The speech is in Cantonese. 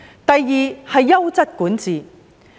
第二，是優質管治。